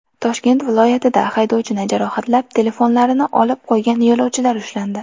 Toshkent viloyatida haydovchini jarohatlab, telefonlarini olib qo‘ygan yo‘lovchilar ushlandi.